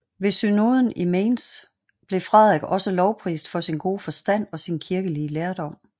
Ved synoden i Mainz blev Frederik også lovprist for sin gode forstand og sin kirkelige lærdom